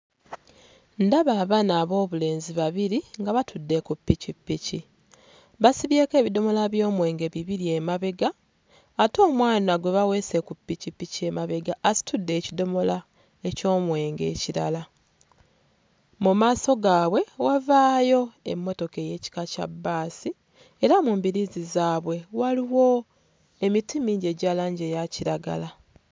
Ndaba abaana ab'obulenzi babiri nga batudde ku ppikippiki basibyeko ebidomola by'omwenge bibiri emabega ate omwana gwe baweese ku ppikippiki emabega asitudde ekidomola eky'omwenge ekirala. Mu maaso gaabwe wavaayo emmotoka ey'ekika kya bbaasi era mu mbiriizi zaabwe waliwo emiti mingi egya langi eya kiragala.